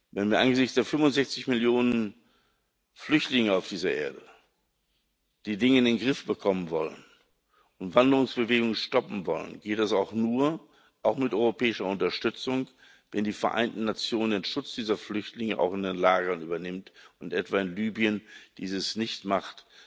Wenn wir angesichts der 65 Millionen Flüchtlinge auf dieser Erde die Dinge in den Griff bekommen wollen und Wanderungsbewegungen stoppen wollen, geht es auch mit europäischer Unterstützung nur, wenn die Vereinten Nationen den Schutz dieser Flüchtlinge auch in den Lagern übernehmen und etwa in Libyen dies nicht so machen,